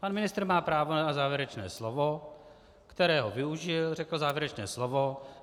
Pan ministr má právo na závěrečné slovo, kterého využil, řekl závěrečné slovo.